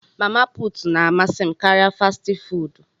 Mama put na amasị m karịa fastị fụụdụ.